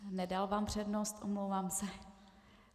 Nedal vám přednost, omlouvám se.